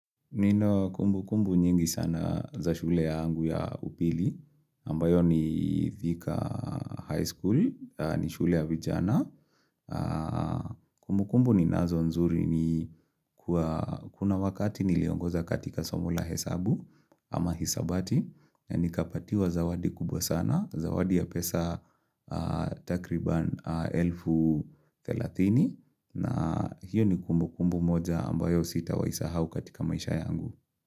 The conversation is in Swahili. Nino kumbu kumbu nyingi sana za shule yangu ya upili, ambayo ni thika high school, ni shule ya vijana. Kumbu kumbu ni nazo nzuri ni kuna wakati niliongoza katika somo la hesabu ama hesabati. Ni kapatiwa zawadi kubwa sana, zawadi ya pesa takriban elfu telatini. Na hiyo ni kumbu kumbu moja ambayo sita wa isahau katika maisha yangu.